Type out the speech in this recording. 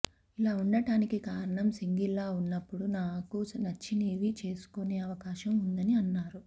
ఇలా ఉండడానికి కారణం సింగిల్గా ఉన్నప్పుడు నాకు నచ్చినివి చేసుకునే అవకాశం ఉందని అన్నారు